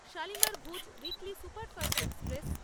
শালিমার-ভুজ weekly superfast express